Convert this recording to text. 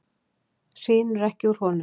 Hrinur ekki úr honum?